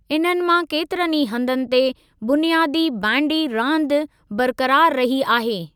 इन्हनि मां केतिरनि ई हंधनि ते बुनियादी बैंडी रांदि बरकरारु रही आहे।